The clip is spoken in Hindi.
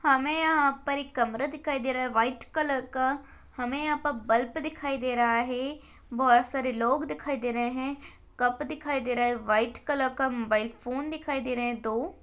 हमें यहाँ पर एक कमरा दिखाई दे रहा है वाइट कलर का हमें यहाँ पर बल्ब दिखाई दे रहा है बहुत सारे लोग दिखाई दे रहे हैं कप दिखाई दे रहे है व्हाइट कलर का मोबाइल फोन दिखाई दे रहे है दो--